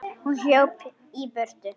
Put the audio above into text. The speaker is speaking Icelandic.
Hún hljóp í burtu.